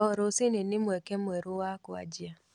O rũciinĩ nĩ mweke mwerũ wa kũanjia.